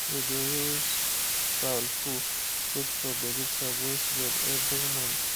we dey use fowl poo put for vegetable beds every month.